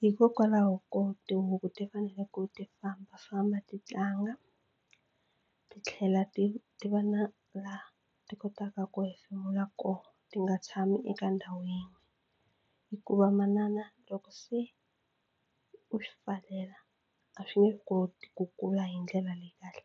Hikokwalaho ko tihuku ti fanele ku ti fambafamba ti tlanga ti tlhela ti ti va na laha ti kotaka ku hefemula koho ti nga tshami eka ndhawu yin'we hikuva manana loko se u swi pfalela a swi nge koti ku kula hi ndlela leyi kahle.